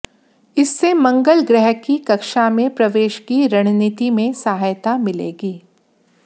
इससे मंगल ग्रह की कक्षा में प्रवेश की रणनीति में सहायता मिलेगी